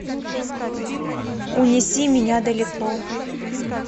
унеси меня далеко